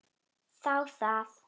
Þá það!